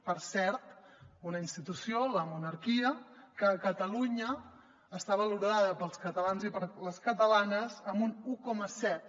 per cert una institució la monarquia que a catalunya està valorada pels catalans i per les catalanes amb un un coma set